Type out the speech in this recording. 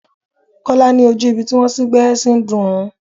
Kọ́lá ní ojú ibi tí wón sín gbẹ́rẹ́ ṣí ń dùn òun.